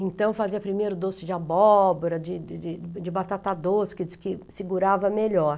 Então, fazia primeiro doce de abóbora, de de de de batata doce, que diz que segurava melhor.